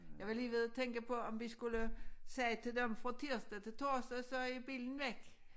Jeg var lige ved at tænke på om vi skulle sige til dem fra tirsdag til torsdag så er bilen væk